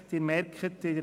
Sie haben es bemerkt: